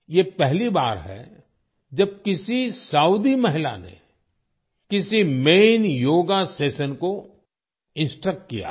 ये पहली बार है जब किसी सऊदी महिला ने किसी मैन योगा सेशन को इंस्ट्रक्ट किया हो